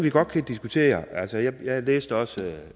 vi godt kan diskutere altså jeg læste også og